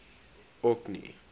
orkney